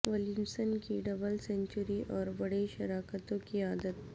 Williamson کی double century اور بڑی شراکتوں کی عادت